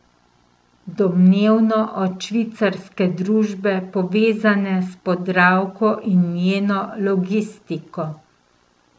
Domnevno od švicarske družbe, povezane s Podravko in njeno logistiko.